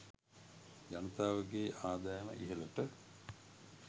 ජනතාවගේ ආදායම ඉහළට